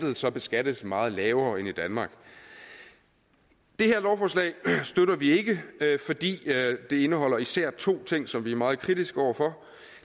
så beskattes meget lavere end i danmark det her lovforslag støtter vi ikke fordi det indeholder især to ting som vi er meget kritiske over for